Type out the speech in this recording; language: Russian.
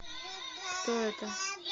кто это